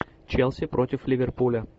челси против ливерпуля